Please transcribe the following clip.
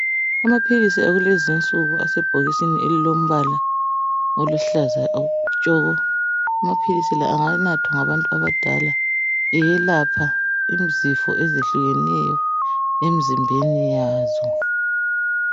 Amapilisi akulezi insuku asebhokisini elilombala aluhlaza tshoko. A mapilisi la anganatwa labantu abadala eyelapha izifo ezihlekeneyo emzimbeni yazo.